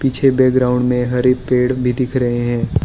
पीछे बैकग्राउंड में हरे पेड़ भी दिख रहे हैं।